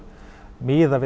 miðað